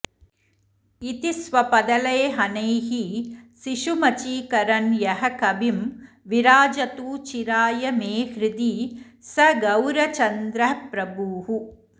इति स्वपदलेहनैः शिशुमचीकरन् यः कविं विराजतु चिराय मे हृदि स गौरचन्द्रः प्रभुः